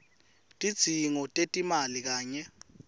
tidzingo tetimali kanye